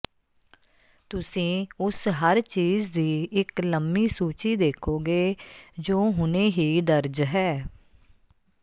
ਤੁਸੀਂ ਉਸ ਹਰ ਚੀਜ਼ ਦੀ ਇੱਕ ਲੰਮੀ ਸੂਚੀ ਦੇਖੋਗੇ ਜੋ ਹੁਣੇ ਹੀ ਦਰਜ ਹੈ